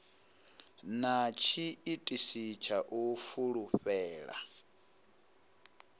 na tshiitisi tsha u fulufhela